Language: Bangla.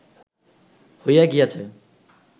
হইয়া গিয়াছে